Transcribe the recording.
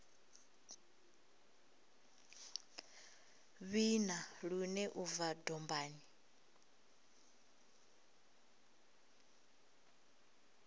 vhina lune u bva dombani